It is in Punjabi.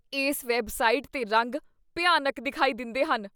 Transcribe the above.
ਇਸ ਵੈੱਬਸਾਈਟ 'ਤੇ ਰੰਗ ਭਿਆਨਕ ਦਿਖਾਈ ਦਿੰਦੇਹਨ।